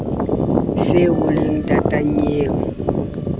se o le ntata nnyeo